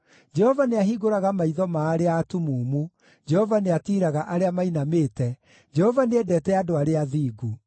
Jehova nĩahingũraga maitho ma arĩa atumumu, Jehova nĩatiiraga arĩa mainamĩte, Jehova nĩendete andũ arĩa athingu.